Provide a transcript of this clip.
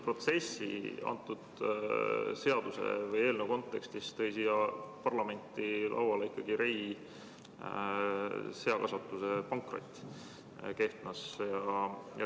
Teadupärast tõi selle eelnõu siia parlamenti lauale ilmselt Rey Seakasvatuse pankrot Kehtnas.